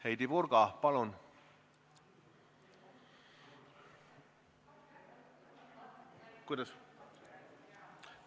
Heidy Purga, palun!